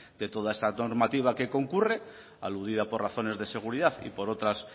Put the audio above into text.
de toda esta normativa que concurre aludida por razones de seguridad y por otras